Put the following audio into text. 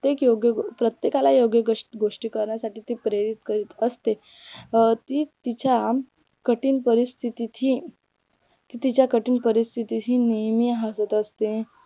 प्रत्येकाला योग्य गोष्टी करण्यासाठी ती प्रेरित करीत असते अं ती तिच्या कठीण परिस्थितीची ती तिच्या कठीण परिस्थितीशी नेहमी हसत असते.